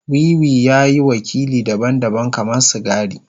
Wiwi ya yi wakili daban-daban kamar sigari.